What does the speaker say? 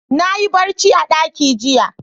Na yi barci a ɗaki jiya.